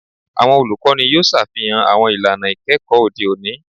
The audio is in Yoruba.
Awọn olukọni yoo ṣafihan awọn ilana ikẹkọ ode oni